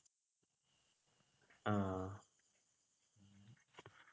ആഹ്